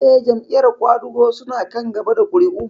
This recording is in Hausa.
Eh, Jam'iyar ƙwadago su na kan gaba da ƙuri'u